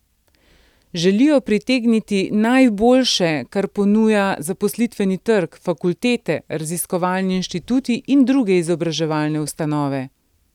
Želijo pritegniti najboljše, kar ponujajo zaposlitveni trg, fakultete, raziskovalni inštituti in druge izobraževalne ustanove.